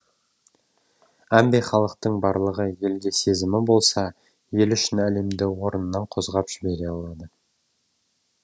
әмбе халықтың барлығы елге сезімі болса елі үшін әлемді орнынан қозғап жібере алады